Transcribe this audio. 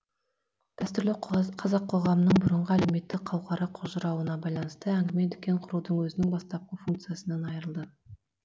дәстүрлі қазақ коғамының бұрынғы әлеуметтік қауқары қожырауына байланысты әңгіме дүкен құрудың өзінің бастапқы функциясынан айырылды